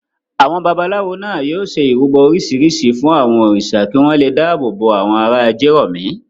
Àwọn babaláwo náà yóò ṣe ìrúbọ oríṣiríṣi fún àwọn òrìṣà kí wọ́n le dáàbò bo àwọn ará Ajérọ̀mí.